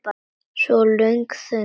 Svo var löng þögn.